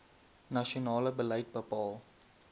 nasionale beleid bepaal